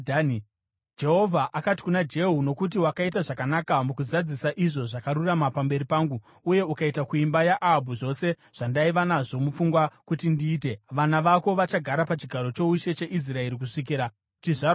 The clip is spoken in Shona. Jehovha akati kuna Jehu, “Nokuti wakaita zvakanaka mukuzadzisa izvo zvakarurama pamberi pangu uye ukaita kuimba yaAhabhu zvose zvandaiva nazvo mupfungwa kuti ndiite, vana vako vachagara pachigaro choushe cheIsraeri kusvikira kuchizvarwa chechina.”